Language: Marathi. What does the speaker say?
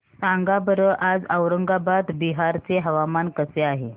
सांगा बरं आज औरंगाबाद बिहार चे हवामान कसे आहे